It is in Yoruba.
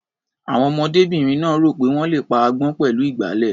Àwọn ọmọdébìnrin náà rò pé wọ́n le pa agbọ́n pẹ̀lú ìgbálẹ̀.